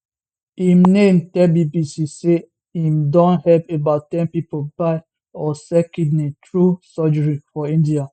im name tell bbc say im don help about ten pipo buy or sell kidney through surgery for india